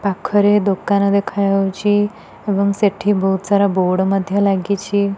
ପାଖରେ ଦୋକାନ ଦେଖା ଯାଉଚି ଏବଂ ସେଠି ବହୁତ ସାରା ବୋର୍ଡ ମଧ୍ୟ ଲାଗିଚି।